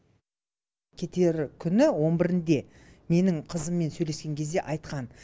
кетер күні он бірінде менің қызыммен сөйлескен кезде айтқан